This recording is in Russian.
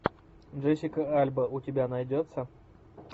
джессика альба у тебя найдется